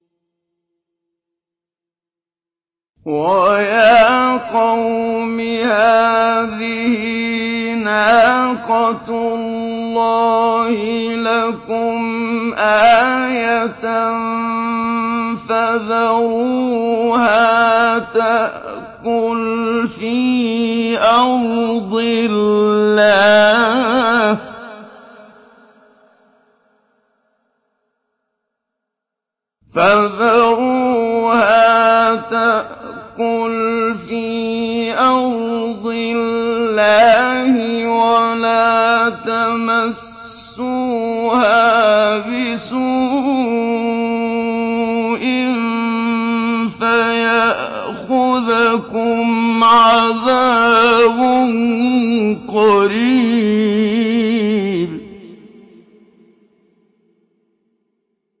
وَيَا قَوْمِ هَٰذِهِ نَاقَةُ اللَّهِ لَكُمْ آيَةً فَذَرُوهَا تَأْكُلْ فِي أَرْضِ اللَّهِ وَلَا تَمَسُّوهَا بِسُوءٍ فَيَأْخُذَكُمْ عَذَابٌ قَرِيبٌ